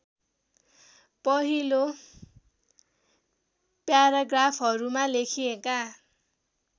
पहिलो प्याराग्राफहरूमा लेखिएका